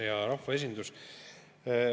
Hea rahvaesindus!